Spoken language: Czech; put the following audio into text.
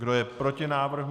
Kdo je proti návrhu?